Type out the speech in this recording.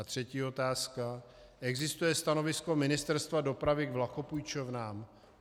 A třetí otázka: Existuje stanovisko Ministerstva dopravy k vlakopůjčovnám?